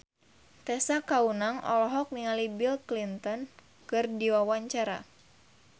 Tessa Kaunang olohok ningali Bill Clinton keur diwawancara